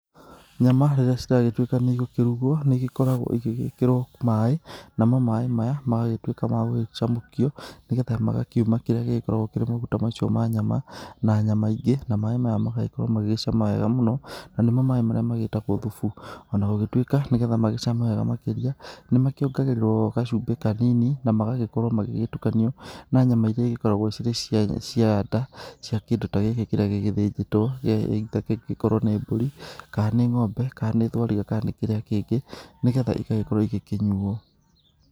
Nyama rĩrĩa ciragĩtuĩka nĩ igũkĩrugwo nĩ igĩkoragwo igĩgĩkĩrwo maĩ, namo maĩ maya magagĩtuĩka ma gũgĩcamũkio nĩgetha magagĩkiuma kĩrĩa gĩgĩkoragwo kĩrĩ maguta macio ma nyama, na nyama ingĩ, na maĩ maya magagĩkorwo magĩgĩcama wega mũno na nĩmo maĩ marĩa magĩtagwo thubu. O na gũgĩtuĩka, nĩgetha magĩcame wega makĩria, nĩ makĩongagĩrĩrwo gacumbĩ kanini na magagĩkorwo magĩtukanio na nyama iria igĩkoragwo irĩ cia nda, cia kĩndũ ta gĩkĩ kĩrĩa gĩgĩthĩnjĩtwo either gĩkorwo nĩ mbũri, kana nĩ ng'ombe kana nĩ thwariga kana nĩ kĩrĩa kĩngĩ, nĩgetha igagĩkorwo igĩkĩnyuo.